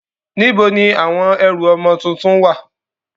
Níbo ni àwọn ẹrù ọmọ tuntun ń wà?